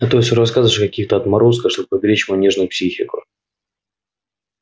а то все рассказываешь о каких-то отморозках чтобы поберечь мою нежную психику